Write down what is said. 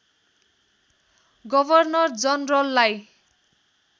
governor जनरललाई